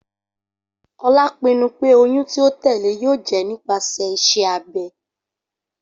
Ola pinnu pe oyun ti o tẹle yoo jẹ nipasẹ iṣẹ abẹ.